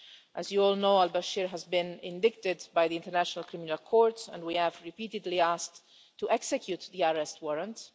As you all know, al Bashir has been indicted by the International Criminal Court, and we have repeatedly asked to execute the arrest warrant.